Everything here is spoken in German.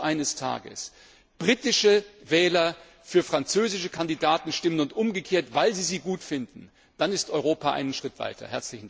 Wenn also eines Tages britische Wähler für französische Kandidaten stimmen und umgekehrt, weil sie sie gut finden, dann ist Europa einen Schritt weiter!